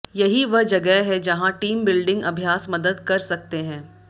यही वह जगह है जहां टीम बिल्डिंग अभ्यास मदद कर सकते हैं